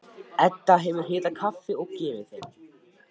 Edda hefur hitað kaffi og gefið þeim.